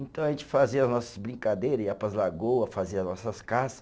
Então a gente fazia as nossas brincadeira, ia para as lagoa, fazia as nossas caça.